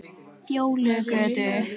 Fjólugötu